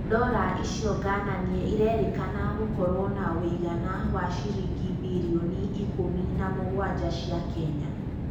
Ndora icio gananie, irerĩkana gũkoruo na ũigana wa ciringi mbirioni ikũmi na mũgwanja cia Kenya